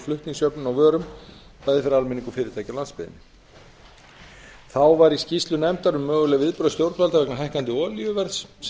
flutningsjöfnun á vörum bæði fyrir almenning og fyrirtæki á landsbyggðinni í skýrslu nefndar um möguleg viðbrögð stjórnvalda vegna hækkandi olíuverðs sem